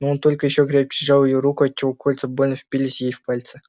но он только ещё крепче сжал её руку отчего кольца больно впились ей в пальцы